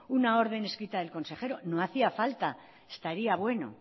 una orden escrita del consejero no hacía falta estaría bueno